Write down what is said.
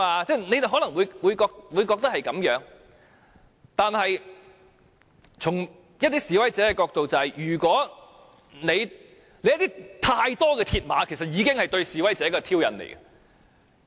大家可能也贊同這種看法，但從一些示威者的角度，過多鐵馬就是對示威者的挑釁。